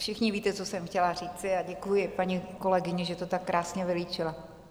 Všichni víte, co jsem chtěla říci, a děkuji paní kolegyni, že to tak krásně vylíčila.